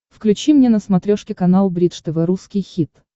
включи мне на смотрешке канал бридж тв русский хит